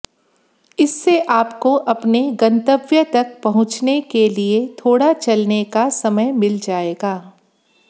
इससे आपको अपने गंतव्य तक पहुंचने के लिए थोड़ा चलने का समय मिल जाएगा